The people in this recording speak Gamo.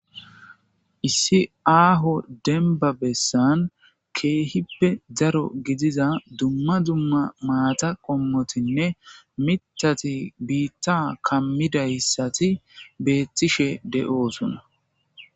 issi aaho denba bessan keehippe zaro gidiza dumma dumma maata qommotinne mitati biitta kammida hissati beettishe de7oosona